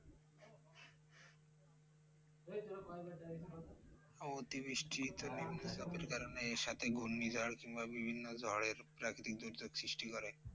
অতিবৃষ্টিতো নিম্নচাপের কারণে এর সাথে ঘূর্ণিঝড় কিংবা বিভিন্ন ঝড়ের প্রাকৃতিক দুর্যোগ সৃষ্টি করে।